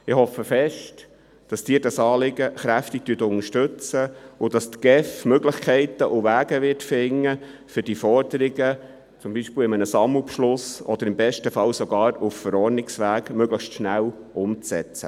Ich hoffe, dass Sie dieses Anliegen unterstützen und dass die GEF Möglichkeiten und Wege finden wird, um diese Forderungen beispielsweise in einem Sammelbeschluss oder im besten Fall gar auf Verordnungsebene möglichst schnell umzusetzen.